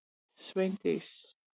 Sveindís